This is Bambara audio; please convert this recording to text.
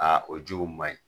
o jiw maɲi.